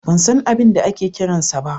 Ban san abin da ake kiran sa ba.